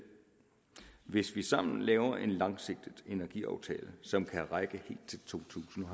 hvis vi sammen laver en langsigtet energiaftale som kan række helt til totusinde og